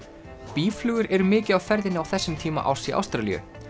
býflugur eru mikið á ferðinni á þessum tíma árs í Ástralíu